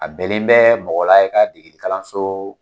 A bɛnnen bɛ mɔgɔla i ka degeli kalanso